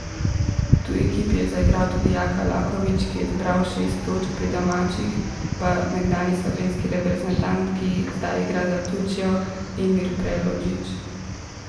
V tuji ekipi je zaigral tudi Jaka Laković, ki je zbral šest točk, pri domačih pa nekdanji slovenski reprezentant, ki zdaj igra za Turčijo, Emir Preldžić.